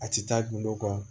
A ti taa gindo kɔ